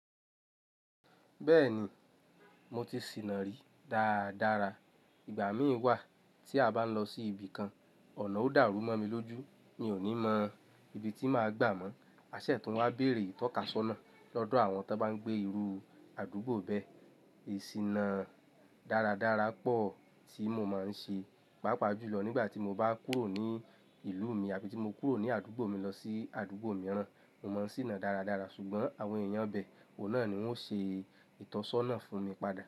Bẹ́ẹ̀ni, mo ti sìnà rí dára dára. Ìgbà mí wà tí a bá ń lọ sí ibi kan, ọ̀nà ó dàrú mọ́ mi lójú. Mi ò ní mọ ibi tí màá gbà mọ́. A ṣẹ̀ tún wá bèrè ìtọ́kasọ́nà lọ́dọ̀ àwọn tó bá ń gbé irú àdúgbò bẹ́ẹ̀. Ìsìnà dára dára pọ̀ tí mo máa ń ṣe, pàápàá jùlọ nígbà tí mo bá kúrò ní ìlú mi àbí tí mo kúrò ní àdúgbò mi lọ sí àdúgbò mìíràn. Mo mọ̀ n sìnà dára dára ṣùgbọ́n àwọn èèyàn bẹ, òun náà ni wọ́n ṣe ìtọ́sọ́nà fún mi padà.